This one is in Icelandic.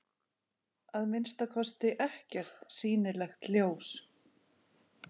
Að minnsta kosti ekkert sýnilegt ljós.